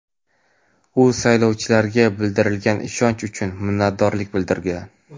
u saylovchilarga bildirilgan ishonch uchun minnatdorlik bildirgan:.